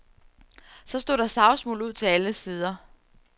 Så stod der savsmuld ud til alle sider.